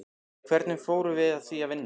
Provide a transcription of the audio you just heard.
Hvernig fórum við að því að vinna?